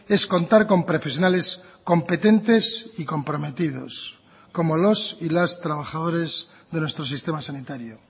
es contar con profesionales competentes y comprometidos como los y las trabajadores de nuestro sistema sanitario